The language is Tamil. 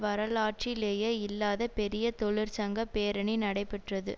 வரலாற்றிலேயே இல்லாத பெரிய தொழிற்சங்க பேரணி நடைபெற்றது